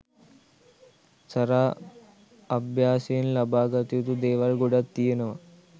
සරා අභ්‍යාසයෙන් ලබා ගත යුතු දේවල් ගොඩක් තියෙනවා.